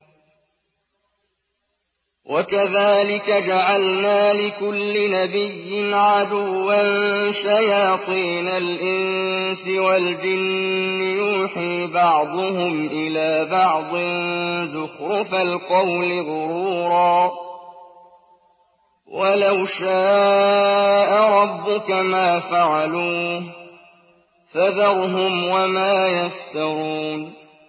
وَكَذَٰلِكَ جَعَلْنَا لِكُلِّ نَبِيٍّ عَدُوًّا شَيَاطِينَ الْإِنسِ وَالْجِنِّ يُوحِي بَعْضُهُمْ إِلَىٰ بَعْضٍ زُخْرُفَ الْقَوْلِ غُرُورًا ۚ وَلَوْ شَاءَ رَبُّكَ مَا فَعَلُوهُ ۖ فَذَرْهُمْ وَمَا يَفْتَرُونَ